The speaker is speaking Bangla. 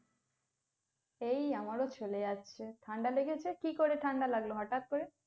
এই আমারো চলে যাচ্ছে, ঠান্ডা লেগেছে, কি করে ঠান্ডা লাগলো হঠাৎ করে?